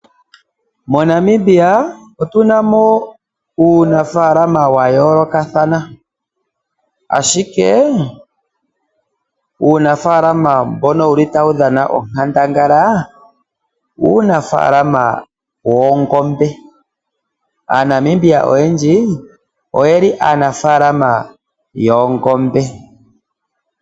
MoNamibia otuna mo uunafaalama wayoolokathana ashike uunafaalama mbono tawu dhana onkandangala uunafaalama woongombe. Aanamibia oyendji oyeli aanafaalama yoongombe.